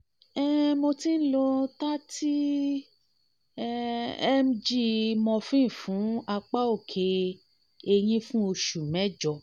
hi mo ti ń lo thirty um mg morphine fún apá òkè ẹ̀yìn fún oṣù mẹ́jọ